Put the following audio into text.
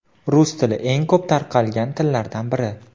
Rus tili eng ko‘p tarqalgan tillardan biri.